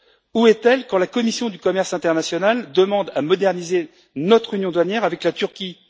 Où est elle lorsque la commission du commerce international demande de moderniser notre union douanière avec la Turquie?